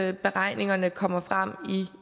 at beregningerne kommer frem